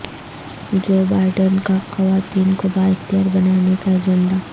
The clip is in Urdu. جو بائیڈن کا خواتین کو با اختیار بنانے کا ایجنڈا